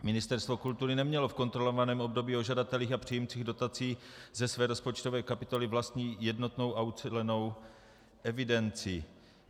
Ministerstvo kultury nemělo v kontrolovaném období o žadatelích a příjemcích dotací ze své rozpočtové kapitoly vlastní jednotnou a ucelenou evidenci.